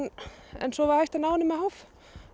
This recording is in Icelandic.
en svo var hægt að ná henni með háf